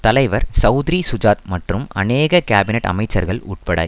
தலைவர் செளத்ரி சுஜாத் மற்றும் அநேக கேபினட் அமைச்சர்கள் உட்பட